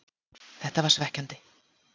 Þetta var svekkjandi,